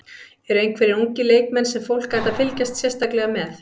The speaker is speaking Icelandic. Eru einhverjir ungir leikmenn sem fólk ætti að fylgjast sérstaklega með?